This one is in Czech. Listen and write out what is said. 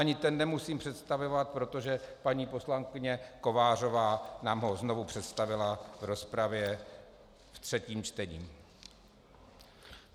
Ani ten nemusím představovat, protože paní poslankyně Kovářová nám ho znovu představila v rozpravě ve třetím čtení.